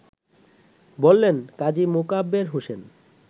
বললেন কাজী মোকাব্বের হোসেন